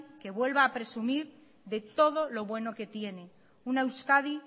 que vuelva a presumir de todo lo bueno que tiene una euskadi